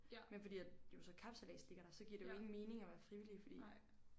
Men fordi at jo så kapsejlads ligger der så giver det jo ingen mening at være frivillig fordi